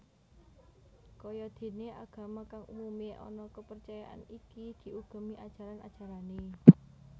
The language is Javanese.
Kaya déné agama kang umumé ana kapercayan iki diugemi ajaran ajarané